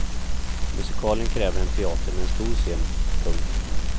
Musikalen kräver en teater med en stor scen. punkt